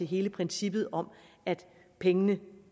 hele princippet om at pengene